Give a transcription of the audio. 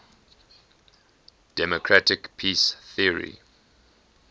democratic peace theory